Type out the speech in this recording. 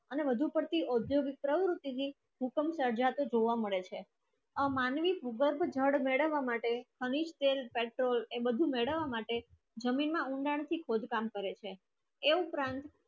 અને વધુ ચર્ચિત એ તરય રીતે ને અંશે જોવા મળે શે આ માનવી ભૂકંપ થી ધડ ઘડાવા માટે એનેક સ્થળ એને ભી મેલા માટે જમીન ના ખોદકામ કરે છે એ ઉપરાંત